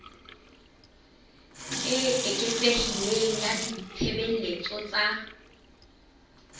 e eketsehileng ya ditshebeletso tsa